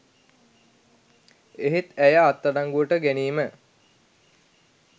එහෙත් ඇය අත්අඩංගුවට ගැනීම